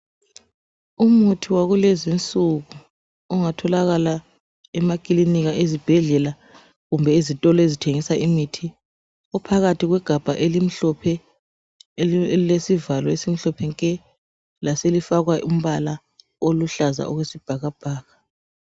Umuthi wakulezi insuku ongatholakala emakilinika, ezibhedlela kumbe ezitolo ezithengisa imithi. Uphakathi kwegabha elimhlophe elilesivalo esimhlophe nke laselifakwa umbala oluhlaza okwesibhakabhaka.